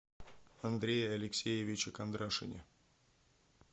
андрее алексеевиче кондрашине